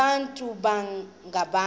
abantu baba ngabantu